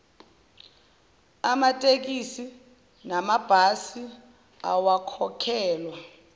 amatekisi namabhasi awakhokhelwa